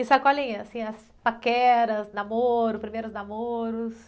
E sacolinha, assim, as paqueras, namoro, primeiros namoros?